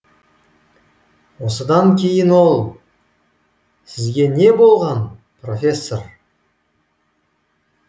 осыдан кейін ол сізге не болған профессор